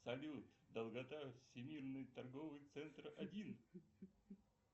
салют долгота всемирный торговый центр один